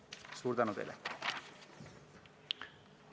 Suur tänu teile!